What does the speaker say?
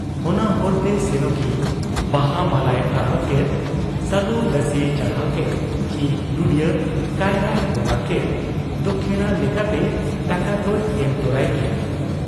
ᱚᱱᱟ ᱦᱚᱨᱛᱮ ᱥᱮᱱᱚᱜᱤᱡ ᱵᱟᱦᱟ ᱢᱟᱞᱟᱭ ᱟᱨᱟᱣ ᱠᱮᱫ; ᱥᱟᱹᱞᱩ ᱫᱟᱹᱥᱤᱭ ᱪᱟᱲᱦᱟᱣ ᱠᱮᱫ ᱪᱤ ᱱᱩᱬᱭᱟᱺ ᱠᱟᱭᱨᱟᱭ ᱵᱚᱝᱜᱟ ᱠᱮᱫ, ᱫᱚᱠᱷᱤᱬᱟ ᱞᱮᱠᱟᱛᱮ ᱴᱟᱠᱟ ᱫᱚᱭ ᱮᱢ ᱛᱚᱨᱟᱭ ᱜᱮᱭᱟ ᱾